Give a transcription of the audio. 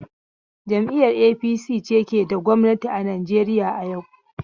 Jam'iyar APC ke da gwamnati a Najeriya yau.